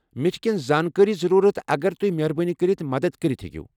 مےٚ چھِ کینٛہہ زٲنٛکٲرِی ضروٗرَت اگر تۄہہِ مہربٲنی كرِتھ مدتھ کٔرِتھ ہیٚکِو ۔